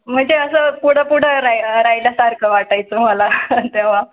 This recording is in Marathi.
म्हणजे असं कुणा पुढे राहिल्या सारखं वाटाय चं मला तेव्हा.